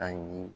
Ayi